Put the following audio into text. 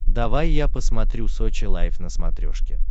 давай я посмотрю сочи лайф на смотрешке